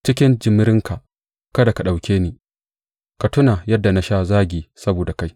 Cikin jimirinka, kada ka ɗauke ni; ka tuna yadda na sha zagi saboda kai.